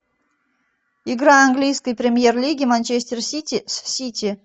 игра английской премьер лиги манчестер сити с сити